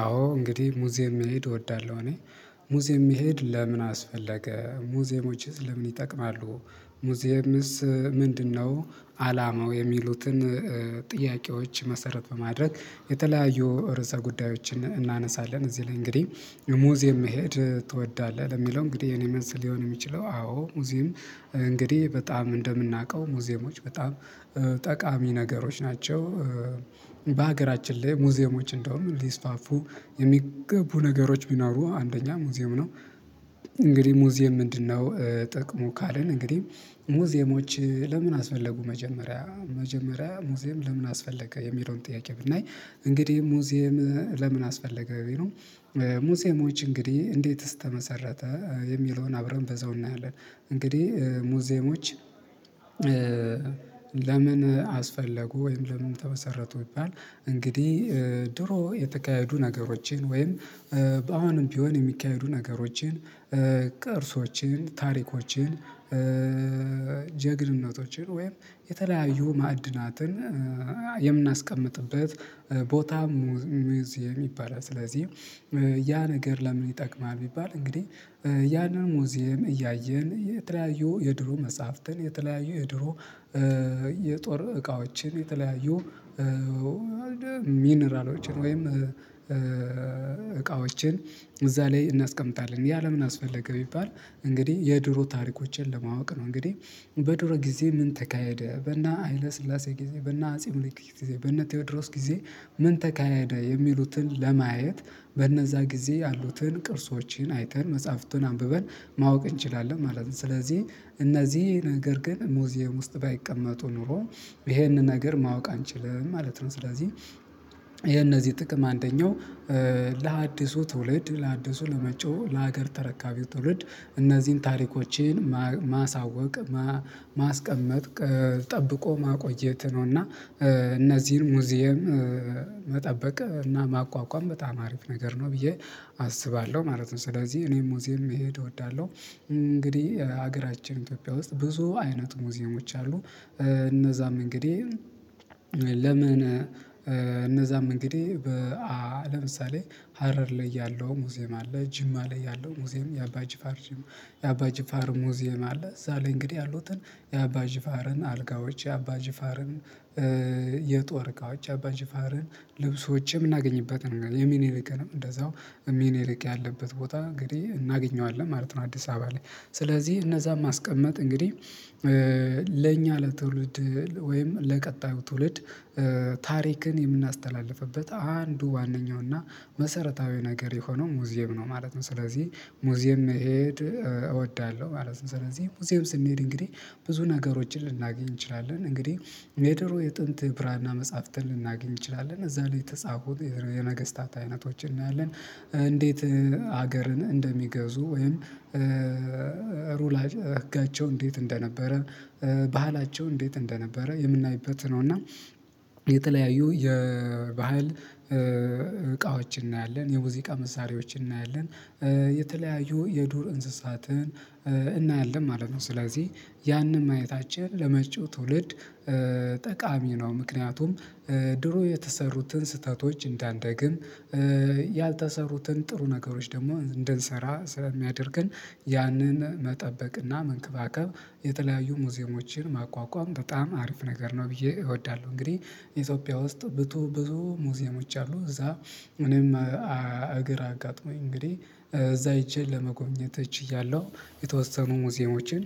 አዎ እንግዲህ ሙዚየም መሄድ እወዳለሁ። እኔ ሙዜዬም መሄድ ለምን አስፈለገ ሙዜዬሞችስ ለምን ይጠቅማሉ? ሙዚዬምስ ምንድነው አላማው የሚሉትን? ጥያቄዎች መሰረት በማድረግ የተለያዩ ርዕሰ ጉዳዮችን እናነሳለን። እዚህ ላይ እንግዲህ የሙዜዬም መሄድ ትወዳለህ ለሚለው እንግዲህ የኔ መልስ ሊሆን የሚችለው አዎ ሙዜዬም እንግዲህ በጣም እንደምናውቀው ሙዜዬሞች በጣም ጠቃሚ ነገሮች ናቸው። በሀገራችን ላይ ሙዜዬሞች እንደውም ሊስፋፉ የሚገቡ ነገሮች ቢኖሩ አንደኛ ሙዜዬም ነው። እንግዲህ ሙዚየም ምንድነው ጠቅሙ ካለን እንግዲህ ሙዚየሞች ለምን አስፈለጉ? መጀመሪያ መጀመሪያ ሙዚየም ለምን አስፈለገ የሚለውን ጥያቄ ብናይ እንግዲህ ሙዚየም ለምን አስፈለገ? ሙዜዬሞች እንግዲህ እንዴትስ ተመሰረተ የሚለውን አብረን በዛው እናያለን። እንግዲህ ሙዜዬሞች ለምን አስፈለጉ ወይም ለምን ተመሰረቱ? ቢባል እንግዲህ ድሮ የተካሄዱ ነገሮችን ወይም በአሁንም ቢሆን የሚካሄዱ ነገሮችን ቅርሶችን ታሪኮችን ጀግንነቶችን ወይም የተለያዩ ማዕድናትን የምናስቀምጥበት ቦታ ሙዜዬም ይባላል። ስለዚህ ያ ነገር ለምን ይጠቅማል? ቢባል እንግዲህ ያንን ሙዚየም እያየን የተለያዩ የድሮ መጽሐፍትን የተለያዩ የድሮ የጦር እቃዎችን የተለያዩ ሚኒራሎችን ወይም እቃዎችን እዛ ላይ እናስቀምጣለን ያለ ለምን አስፈለገ ቢባባል እንግዲህ የድሮ ታሪኮችን ለማወቅ ነው። እንግዲህ በዶሮ ጊዜ ምን ተካሄደ በና ሀይለ ስላሴ ጊዜ በነ አጼ ሚኒሊክ ጊዜ በነ ቴዎድሮስ ጊዜ ምን ተካሄደ የሚሉትን ለማየት በነዛ ጊዜ ያሉትን ቅርሶችን አይተን መጽሐፍቱን አንብበን ማወቅ እንችላለን ማለት ነው። ስለዚህ እነዚህ ነገር ግን ሙዜዬም ውስጥ ባይቀመጡ ኖሮ ይሄንን ነገር ማወቅ አንችልም ማለት ነው። ስለዚህ የነዚህ ጥቅም አንደኛው ለሀዲሱ ትውልድ ለሀዲሱ ለመጭው ለሀገር ተረካቢ ትውልድ እነዚህን ታሪኮችን ማሳወቅ ማስቀመጥ ጠብቆ ማቆየት ነው። እና እነዚህን ሙዜዬም መጠበቅ እና ማቋቋም በጣም አሪፍ ነገር ነው ብዬ አስባለሁ ማለት ነው። ስለዚህ እኔ ሙዚየም መሄድ እወዳለሁ። እንግዲህ ሀገራችን ኢትዮጵያ ውስጥ ብዙ አይነት ሙዜየሞች አሉ። እነዛም እንግዲህ ለምን እነዛም እንግዲህ ለምሳሌ ሀረር ላይ ያለው ሙዜዬም አለ ጅማ ላይ ያለው ሙዚየም የአባ ጅፋር የአባ ጁፋር ሙዚየም አለ። እዛ ላይ እንግዲህ ያሉትን የአባ ጁፋርን አልጋዎች የአባ ጁፋርን የጦር እቃዎች የአባ ጁፋርን ልብሶች የምናገኝበት ነው የሚኒሊክንም እንደዛው ሚኒሊክ ያለበት ቦታ እንግዲህ እናገኘዋለን ማለት ነው። አዲስ አበባ ላይ ስለዚህ እነዛን ማስቀመጥ እንግዲህ ለእኛ ለትውልድ ወይም ለቀጣዩ ትውልድ ታሪክን የምናስተላልፍበት አንዱ ዋናኛው እና መሰረታዊ ነገር የሆነው ሙዜዬም ነው ማለት ነው። ስለዚህ ሙዜዬም እሄድ እወዳለሁ ማለት ነው። ስለዚህ ሙዚዬም ስንሄድ እንግዲህ ብዙ ነገሮችን ልናገኝ እንችላለን እንግዲህ የደሩ የጥንት ብራና መጽሐፍትን ልናገኝ እንችላለን እዛ ላይ የተጻፉት የነገስታት አይነቶችን እናያለን። እንዴት ሀገርን እንደሚገዙ ወይም ሩላ ህጋቸው እንዴት እንደነበረ ባህላቸው እንዴት እንደነበረ የምናይበት ነው። እና የተለያዩ የባህል እቃዎችን እናያለን የሙዚቃ መሳሪያዎችን እናያለን የተለያዩ የዱር እንስሳትን እናያለን ማለት ነው። ስለዚህ ያንን ማየታችን ለመጪው ትውልድ ጠቃሚ ነው። ምክንያቱም ድሮ የተሰሩትን ስህተቶች እንዳንደግም ያልተሰሩትን ጥሩ ነገሮች ደግሞ እንድንሰራ ስለሚያደርግን ያንን መጠበቅና መንከባከብ የተለያዩ ሙዚዬሞችን ማቋቋም በጣም አሪፍ ነገር ነው። ብዬ እወዳለሁ። እንግዲህ ኢትዮጵያ ውስጥ ብዙ ብዙ ሙዚየሞች አሉ። እዛ እኔም እግር አጋጥሞኝ እንግዲህ እዛ ሄጄ ለመጎብኘት እችያለሁ። የተወሰኑ ሙዜዬሞችን